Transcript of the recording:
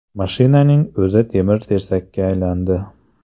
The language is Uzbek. Mashinaning o‘zi temir-tersakka aylandi.